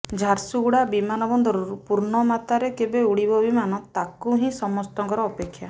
ଝାରସୁଗୁଡ଼ା ବିମାନ ବନ୍ଦରରୁ ପୂର୍ଣ୍ଣମାତ୍ରାରେ କେବେ ଉଡ଼ିବ ବିମାନ ତାକୁ ହିଁ ସମସ୍ତଙ୍କର ଅପେକ୍ଷା